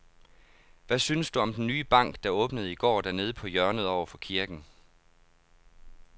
Hvad synes du om den nye bank, der åbnede i går dernede på hjørnet over for kirken?